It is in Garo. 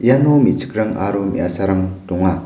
iano me·chikrang aro me·asarang donga.